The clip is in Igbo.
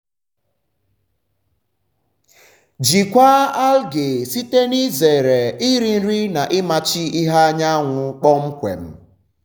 jikwaa algae site n'izere iri nri na ịmachi ìhè anyanwụ kpọmkwem.